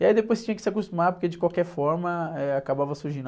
E aí depois tinha que se acostumar, porque de qualquer forma, eh, acabava...